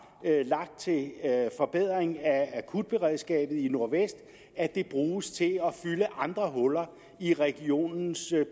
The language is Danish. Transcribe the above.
lagt til en forbedring af akutberedskabet i nordvestjylland ikke bruges til at fylde andre huller i regionens